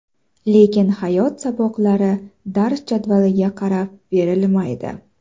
Lekin hayot saboqlari dars jadvaliga qarab berilmaydi.